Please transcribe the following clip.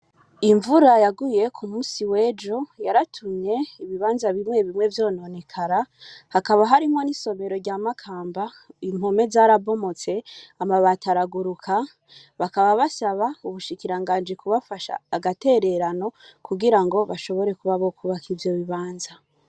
Imvura yaguye kumusi w'ejo yaratumye ibibaza bimwe bimwe vyononekara hakaba harimwo n'isomero rya makamba impome zarambomotse, amabati araguruka bakaba basaba ubushikirangaji kubafasha agatererano kugira bashobore kuba bakwubaka ivyo bibaza.